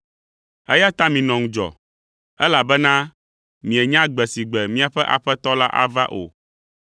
“Eya ta minɔ ŋudzɔ, elabena mienya gbe si gbe miaƒe Aƒetɔ la ava o.